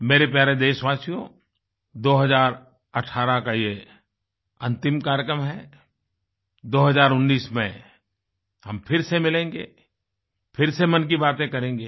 मेरे प्यारे देशवाशियों 2018 का ये अंतिम कार्यक्रम है 2019 में हम फिर से मिलेंगे फिर से मन की बातें करेंगे